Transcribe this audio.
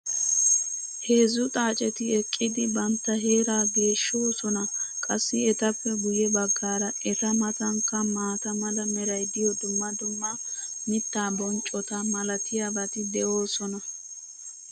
heezzu xaaceti eqqidi bantta heeraa geeshshoosona. qassi etappe guye bagaara eta matankka maata mala meray diyo dumma dumma mitaa bonccota malatiyaabati de'oosona.